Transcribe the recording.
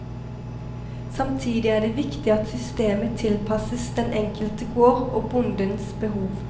Samtidig er det viktig at systemet tilpasses den enkelte gård og bondens behov.